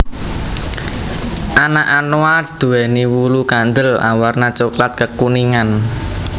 Anak anoa duwéni wulu kandel awarna coklat kekuningan